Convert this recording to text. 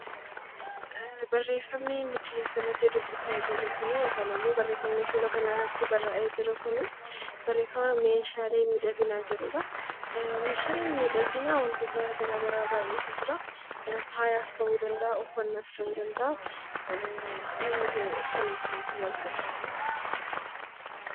Meeshaaleen miidhaginaa wantoota garaagaraa irraa hojjatama. Faayaan ta'uu danda'a uffannaas ta'uu danda'a namni kan itti tajaajilamu